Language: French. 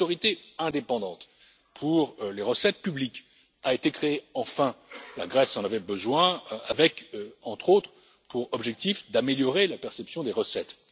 Une autorité indépendante pour les recettes publiques a enfin été créée. La Grèce en avait besoin avec, entre autres, pour objectif d'améliorer la perception des recettes.